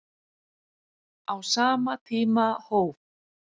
Á sama tíma hóf